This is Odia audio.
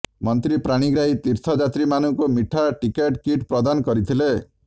ମନ୍ତ୍ରୀ ପାଣିଗ୍ରାହୀ ତୀର୍ଥଯାତ୍ରୀମାନଙ୍କୁ ମିଠା ଟିକେଟ କିଟ୍ ପ୍ରଦାନ କରିଥିଲେ